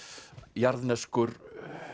jarðneskur